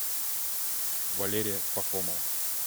валерия пахомова